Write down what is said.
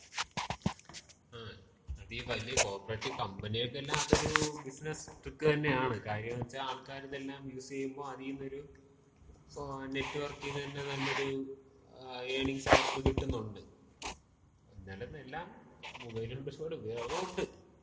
മ്മ്. അത് ഈ വലിയ കോപ്പറേറ്റ് കമ്പനികക്കെല്ലാം അതൊര് ബിസിനസ് ട്രിക്ക് തന്നെയാണ്. കാര്യംന്ന് വച്ചാ ആൾക്കാരിതെല്ലാം യൂസ് ചെയ്യുമ്പോ, അതീന്ന് ഒരു നെറ്റ് വർക്കീന്ന് തന്ന നല്ലൊരു ഏർണിങ്സ് അവർക്ക് കിട്ടുന്നൊണ്ട്. എന്നാലും എല്ലാം മൊബൈൽ കൊണ്ട് ഒരുപാട് ഉപയോഗോണ്ട്.